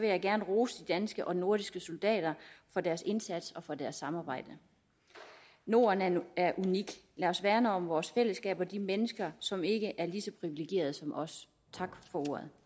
jeg gerne rose de danske og nordiske soldater for deres indsats og for deres samarbejde norden er unik lad os værne om vores fællesskab og de mennesker som ikke er lige så privilegerede som os tak for ordet